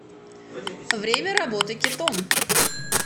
время работы кетом